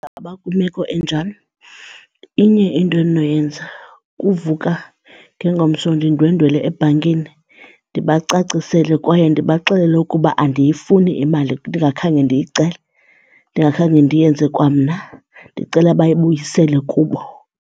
kwimeko enjalo inye into endinoyenza kuvuka ngengomso ndindwendwele ebhankini ndibacacisele kwaye ndibaxelele ukuba andiyifuni imali ndingakhange ndiyicele, ndingakhange ndiyenze kwamna, ndicela bayibuyisele kubo.